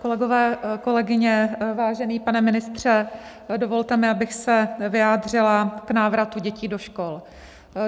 Kolegové, kolegyně, vážený pane ministře, dovolte mi, abych se vyjádřila k návratu dětí do škol.